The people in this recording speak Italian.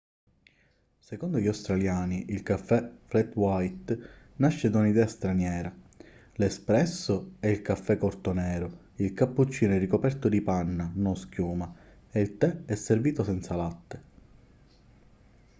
secondo gli australiani il caffè 'flat white' nasce da un'idea straniera. l''espresso' è il caffè corto nero il cappuccino è ricoperto di panna non schiuma e il tè è servito senza latte